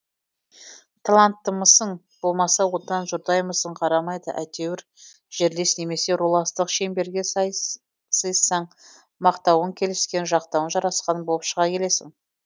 таланттымысың болмаса одан жұрдаймысың қарамайды әйтеуір жерлес немесе руластық шеңберге сыйыссаң мақтауың келіскен жақтауың жарасқан болып шыға келесің